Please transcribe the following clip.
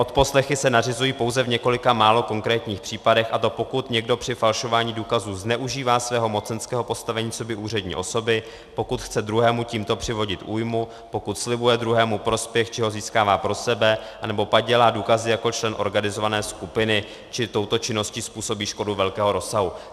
Odposlechy se nařizují pouze v několika málo konkrétních případech, a to pokud někdo při falšování důkazů zneužívá svého mocenského postavení coby úřední osoby, pokud chce druhému tímto přivodit újmu, pokud slibuje druhému prospěch či ho získává pro sebe, anebo padělá důkazy jako člen organizované skupiny, či touto činností způsobí škodu velkého rozsahu.